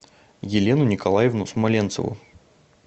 елену николаевну смоленцеву